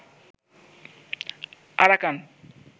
Arakan